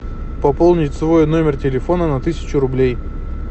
пополнить свой номер телефона на тысячу рублей